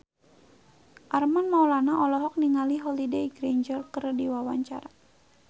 Armand Maulana olohok ningali Holliday Grainger keur diwawancara